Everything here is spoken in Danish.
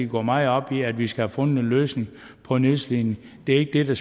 går meget op i at vi skal have fundet en løsning på nedslidning det er ikke det